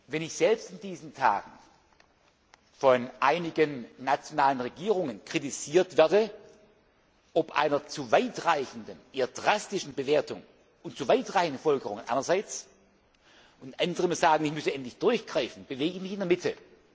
Wenn ich selbst in diesen Tagen von einigen nationalen Regierungen kritisiert werde, ob einer zu weitreichenden, eher drastischen Bewertung und zu weitreichenden Folgerungen einerseits und andere sagen, ich müsse endlich durchgreifen, bewege ich mich in der Mitte.